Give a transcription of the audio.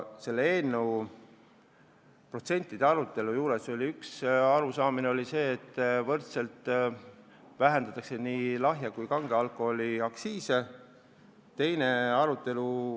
Selle eelnõu kohaste protsentide arutelul oli üks seisukoht see, et lahja ja kange alkoholi aktsiise langetatakse võrdselt.